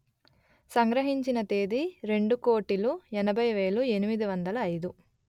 సంగ్రహించిన తేదీ రెండు కోటిలు ఎనభై వేలు ఎనిమిది వందలు అయిదు